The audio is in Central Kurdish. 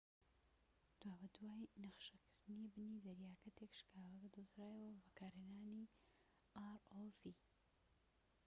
دوابەدوای نەخشەکردنی بنی دەریاکە تێكشکاوەکە دۆزرایەوە بە بەکارهێنانی rov